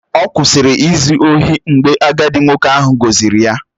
Ọ kwụsịrị izu ohi mgbe agadi nwoke ahụ gọzịrị ya